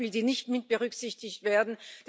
die nicht mitberücksichtigt werden?